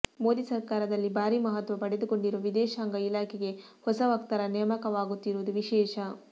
ಮೋದಿ ಸರ್ಕಾರದಲ್ಲಿ ಭಾರೀ ಮಹತ್ವ ಪಡೆದುಕೊಂಡಿರುವ ವಿದೇಶಾಂಗ ಇಲಾಖೆಗೆ ಹೊಸ ವಕ್ತಾರ ನೇಮಕವಾಗುತ್ತಿರುವುದು ವಿಶೇಷ